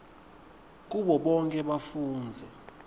kubo bonkhe bafundzi